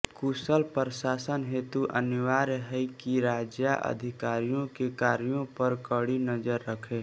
कुशल प्रशासन हेतु अनिवार्य है कि राजा अधिकारियों के कार्यों पर कड़ी नजर रखे